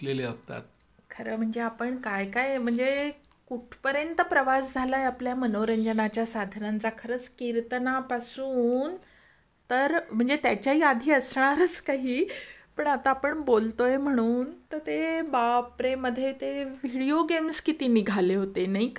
खरं म्हणजे आपण काय काय म्हणजे कुठपर्यंत प्रवास झालाय आपल्या मनोरंजनाच्या साधनांचा खरंच कीर्तनापासून तर म्हणजे त्याच्याही आधी असणारच काही पण आता आपण बोलतोय म्हणून, तर ते बापरे मधेते व्हिडीओ गेम्स किती निघाले होते नाही का?